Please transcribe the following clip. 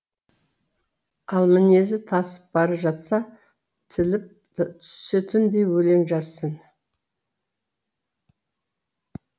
ал мінезі тасып бара жатса тіліп түсетіндей өлең жазсын